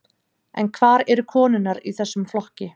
En hvar eru konurnar í þessum flokki?